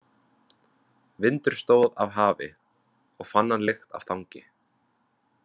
Vindur stóð af hafi, og hann fann lykt af þangi.